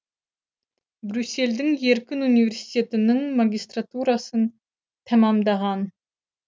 брюссельдің еркін университетінің магистратурасын тәмәмдаған